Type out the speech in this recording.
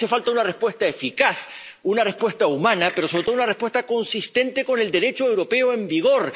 Hace falta una respuesta eficaz, una respuesta humana, pero, sobre todo, una respuesta consistente con el Derecho europeo en vigor.